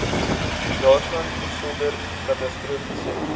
daarvan sonder katastrofiese